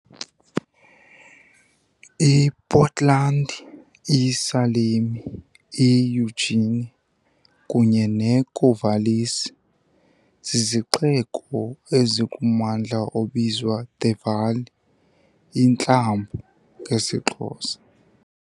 IPortlandi, iSalemi, i-Yujini kunye neKorvalisi zizixeko ezikummandla obizwa "The Valley", intlambo ngesiXhosa.